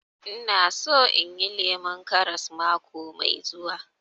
Ina so inyi lemun karas mako mai zuwa